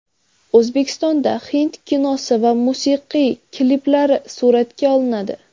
O‘zbekistonda hind kinosi va musiqiy kliplari suratga olinadi.